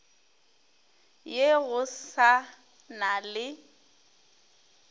ye go sa na le